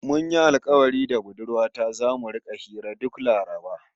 Mun yi alkawari da budurwa ta zamu rika hira duk Laraba